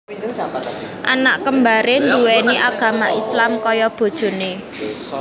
Anak kembaré nduwéni agama Islam kaya bojoné